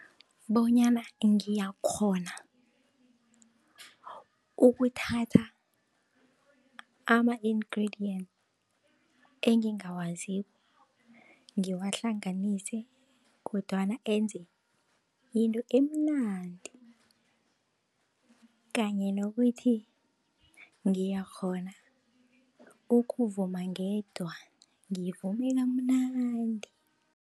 Bonyana ngiyakghona ukuthatha ama-ingredient engingawaziko, ngiwahlanganise kodwana enze into emnandi. Kanye nokuthi ngiyakghona ukuvuma ngedwa, ngivume kamnandi.